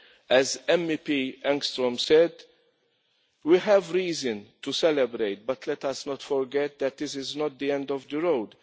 As Ms Engström said, we have reason to celebrate but let us not forget that this is not the end of the road.